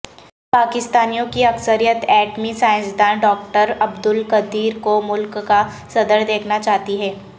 پاکستانیوں کی اکثریت ایٹمی سائنسدان ڈاکٹر عبدالقدیر کو ملک کا صدر دیکھنا چاہتی ہے